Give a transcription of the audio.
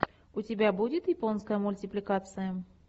у тебя будет японская мультипликация